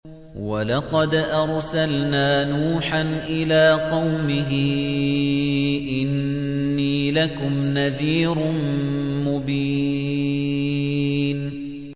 وَلَقَدْ أَرْسَلْنَا نُوحًا إِلَىٰ قَوْمِهِ إِنِّي لَكُمْ نَذِيرٌ مُّبِينٌ